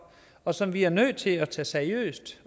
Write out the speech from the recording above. og som vi er nødt til at tage seriøst